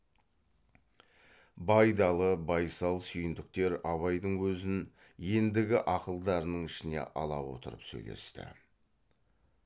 байдалы байсал сүйіндіктер абайдың өзін ендігі ақылдарының ішіне ала отырып сөйлесті